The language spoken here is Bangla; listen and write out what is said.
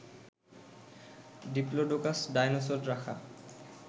ডিপ্লোডোকাস ডায়নোসর রাখা